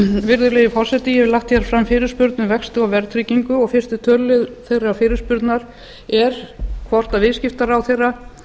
virðulegi forseti ég hef lagt hér fram fyrirspurn um vexti og verðtryggingu og fyrsti töluliður þeirrar fyrirspurnar er hvort viðskiptaráðherra